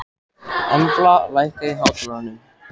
Embla, lækkaðu í hátalaranum.